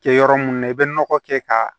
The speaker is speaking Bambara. Kɛ yɔrɔ mun na i bɛ nɔgɔ kɛ ka